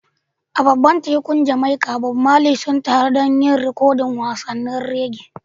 A gabar tekun Jamaica, Bob Marley sun taru don yin rikodin wasannin reggae.